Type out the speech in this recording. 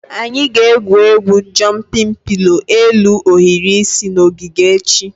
Anyị ga-egwu egwu "jụmpịn pilo" elu ohiri isi" na ogige echi